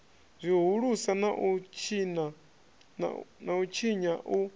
zwihulusa na u tshinya u